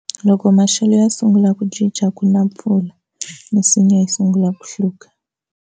Loko maxelo ya sungula ku cinca ku na mpfula misinya yi sungula ku hluka.